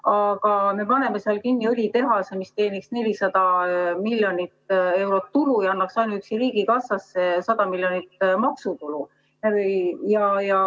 Aga me paneme seal kinni õlitehase, mis teeniks 400 miljonit eurot tulu ja annaks ainuüksi riigikassasse 100 miljonit maksutulu.